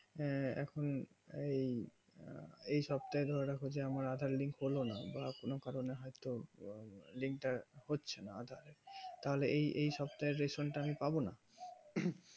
আঃ এখন এই এই আমার aadhar link তা বা কোনো কারণে হয় তো link তা হচ্ছে না তাহলে এই সপ্তাহের রেশম তা আমি পাবো না